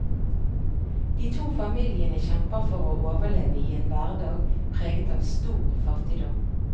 De to familiene kjemper for å overleve i en hverdag preget av stor fattigdom.